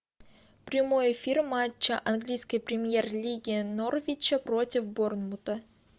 прямой эфир матча английской премьер лиги норвича против борнмута